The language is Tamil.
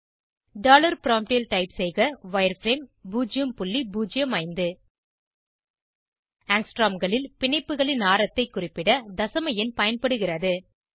டாலர் ப்ராம்ப்ட் ல் டைப் செய்க வயர்ஃப்ரேம் 005 ஆங்ஸ்ட்ரோம் களில் பிணைப்புகளின் ஆரத்தை குறிப்பிட தசம எண் பயன்படுகிறது